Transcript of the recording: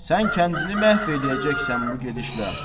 Sən kəndini məhv eləyəcəksən bu gedişlə.